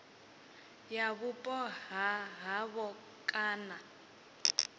ya vhupo ha havho kana